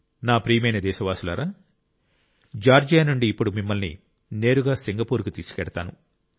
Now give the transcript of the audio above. నా ప్రియమైన దేశవాసులారా జార్జియా నుండి ఇప్పుడు మిమ్మల్ని నేరుగా సింగపూర్కు తీసుకెళ్తాను